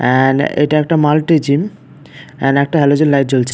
And এইটা একটা multi gym and একটা হেলোজেন লাইট জ্বলছে।